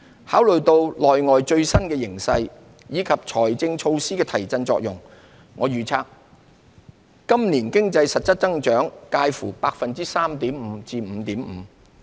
考慮到內外最新形勢，以及財政措施的提振作用，我預測今年經濟實質增長介乎 3.5% 至 5.5%。